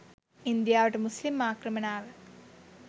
ඉන්දියාවට මුස්ලිම් ආක්‍රමණ ආව